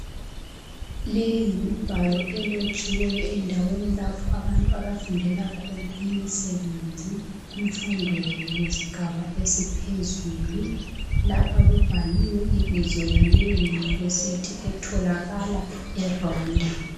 Leyi yimibhalo elotshiweyo endaweni lapho abantu abafundela khona imisebenzi kumfundo yesigaba esiphezulu. Lapha kubhaliwe ibizo laleyo yunivesithi etholakala eRwanda.